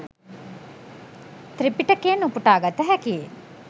ත්‍රිපිටකයෙන් උපුටා ගත හැකි